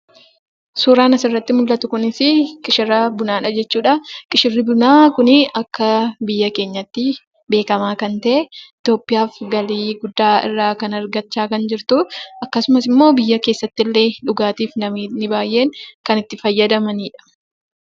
Suuraan asirratti mul'atu kunis, qishira bunaadha jechuudha. Qishirri bunaa Kun akka biyya keenyaattii beekamaa kan ta'e itiyoophiyaaf galii guddaa irraa argachaa kan jirtu akkasumas immoo biyya keessatti illee dhugaatiif namootni baayyeen kan itti fayyadamanidha.